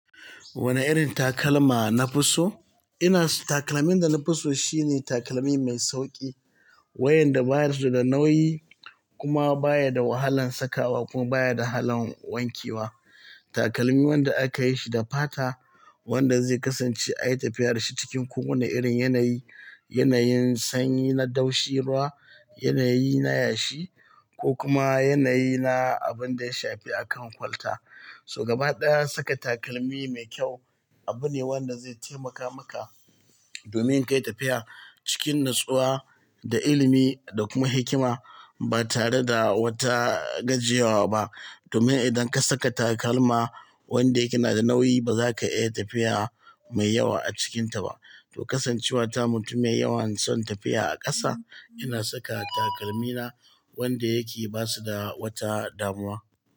Wane irin takalma nafi so? Ina so takalmin da nafiso shine takalmi mai sauƙi, wayanda baya su da nauyi kuma baya da wahalan sakawa kuma baya da halan wanke wa. Takalmi wanda aka yi shi da fata, wanda zai kasance a yi tafiyar da shi cikin ko wane irin yanayi, yanayin sanyi na daushi ruwa, yanayi na yashi ko kuma yanayi na abin da ya shafi akan kwalta. So gaba ɗaya saka takalmi mai kyau abu ne wanda zai taimaka maka domin ka yi tafiya cikin natsuwa da ilimi da kuma hikima ba tare da wata gajiyawa ba. Domin idan ka saka takalma wanda yake na da nauyi ba za ka iya tafiya mai yawa a cikinta ba. To kasancewa ta mutum mai yawan son tafiya a ƙasa, ina saka takalmina wanda yake ba su da wata damuwa.